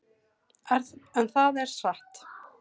En það er satt.